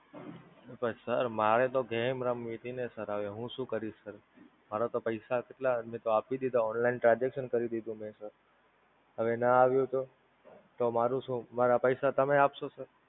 પણ Sir મારે તો Game રમવીતી ને Sir હવે હું શું કરીશ Sir? મારા તો પૈસા કેટલાં મે તો આપી દીધા Online transaction કરી દીધું મે Sir. હવે નાં આવ્યું તો? તો મારુ શું? મારા પૈસા તમે આપસો Sir?